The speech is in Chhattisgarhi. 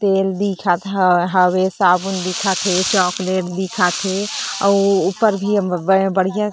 तेल दिखत हवे साबुन दिखत हावे साबुन दिखत हे चॉकलेट दिखत हे अउ ऊपर भी बढ़िया --